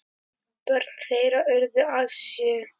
Börn þeirra urðu alls sjö.